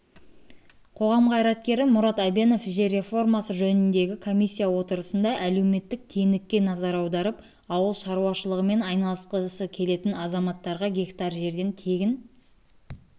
қоғам қайраткері мұрат әбенов жер реформасы жөніндегі комиссия отырысында әлеуметтік теңдікке назар аударып ауыл шаруашылығымен айналысқысы келетін азаматтарға гектар жерден тегін